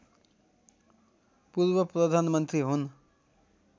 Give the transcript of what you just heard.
पूर्व प्रधानमन्त्री हुन्